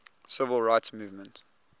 civil rights movement